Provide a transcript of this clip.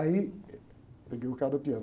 Aí, eh, peguei o cara do piano.